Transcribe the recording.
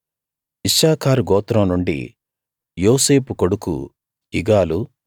ఇశ్శాఖారు గోత్రం నుండి యోసేపు కొడుకు ఇగాలు